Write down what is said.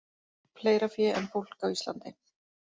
Fleira fé en fólk á Íslandi